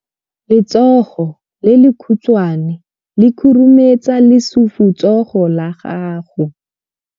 Letsogo le lekhutshwane le khurumetsa lesufutsogo la gago.